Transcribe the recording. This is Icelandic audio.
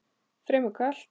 Fremur kalt.